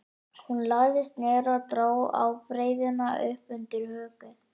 Hún lagðist niður og dró ábreiðuna upp undir höku.